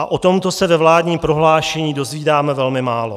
A o tomto se ve vládním prohlášení dozvídáme velmi málo.